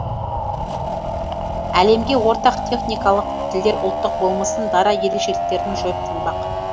әлемге ортақ техникалық тілдер ұлттық болмысын дара ерекшеліктерін жойып тынбақ